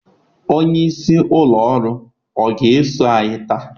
Onye isi ụlọ ọrụ ọ ga-eso anyị taa?